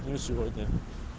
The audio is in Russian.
не сегодня